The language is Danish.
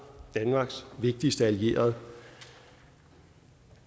danmarks vigtigste allierede